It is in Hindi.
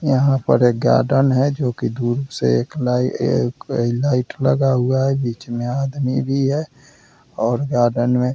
यहाँ पर एक गार्डन है जो कि दूर से एक लाई एक लाइट लगा हुआ है। बीच में आदमी भी है और गार्डन में --